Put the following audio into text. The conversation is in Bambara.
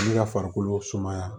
Ne ka farikolo sumaya